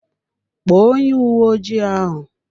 Kpọọ onye uwe ojii ahụ!